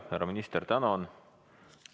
Härra minister, tänan!